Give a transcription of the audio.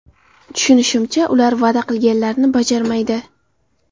Tushunishimcha, ular va’da qilganlarini bajarmaydi.